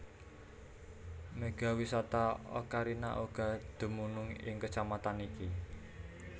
Mega Wisata Ocarina uga dumunung ing Kecamatan iki